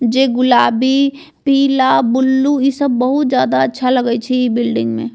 जे गुलाबी पीला ब्लू इ सब बहुत अच्छा लगय छै इ बिल्डिंग में।